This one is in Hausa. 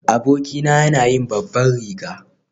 Abokina yana yin babban riga.